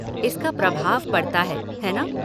इसका प्रभाव पड़ता है, है ना?